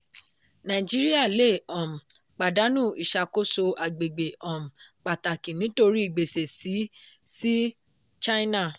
nàìjíríà lè um pàdánù iṣàkóso agbègbè um pàtàkì nítorí gbèsè sí sí china.